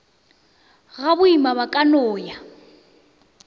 gaboima ba ka no ya